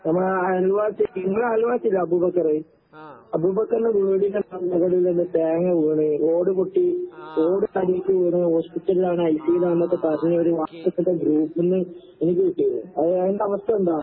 നമ്മടെ അയൽവാസി, നിങ്ങടെ അയൽവാസിയില്ലേ അബൂബക്കറ്. അബൂബക്കറിന്റെ വീടിന്റെ തേങ്ങ വീണ്, ഓട് പൊട്ടി, ഓട് തലേട്ട് വീണ് ഹോസ്പിറ്റലിലാണ് ഐസിയുവിലാന്നൊക്കെ പറഞ്ഞൊര് വാട്സപ്പിന്റെ ഗ്രൂപ്പ്ന്ന് എനിക്ക് കിട്ടീര്ന്ന്. അത് ഓന്റവസ്ഥെന്താ?